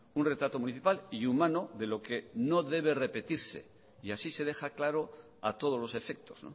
un retrato municipal y humano de lo que no debe repetirse y así se deja claro a todos los efectos